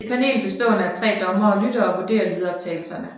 Et panel bestående af tre dommere lytter og vurderer lydoptagelserne